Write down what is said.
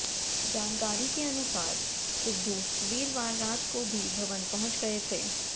जानकारी के अनुसार सिद्धू वीरवार रात को ही भवन पहुंच गये थे